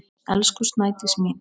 Elsku Snædís mín.